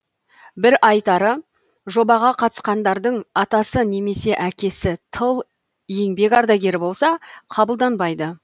бір айтары жобаға қатысқандардың атасы немесе әкесі тыл еңбек ардагері болса қабылданбайды